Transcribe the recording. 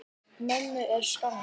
Mömmu er saknað.